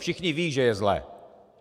Všichni vědí, že je zle.